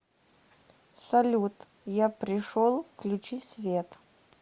салют я пришел включи свет